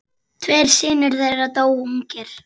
Tveir synir þeirra dóu ungir.